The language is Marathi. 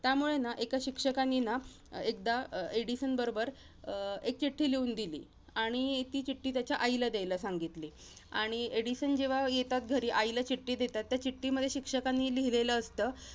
त्यामुळेना, एका शिक्षकानीना एकदा एडिसन बरोबर अं एक चिठ्ठी लिहून दिली, आणि ती चिठ्ठी त्याच्या आईला द्यायला सांगितली. आणि एडिसन जेव्हा येतात घरी, त्याच्या आईला चिठ्ठी देतात, त्या चिठ्ठीमध्ये शिक्षकानी लिहिलेलं असतं